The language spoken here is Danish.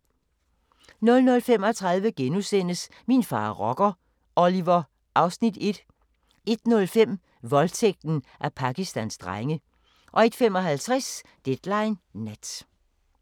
00:35: Min far er rocker – Oliver (Afs. 1)* 01:05: Voldtægten af Pakistans drenge 01:55: Deadline Nat